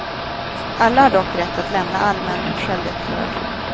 Alla har dock rätt att lämna allmän självdeklaration.